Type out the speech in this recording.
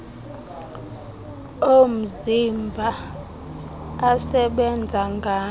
omzimba asebenza ngayo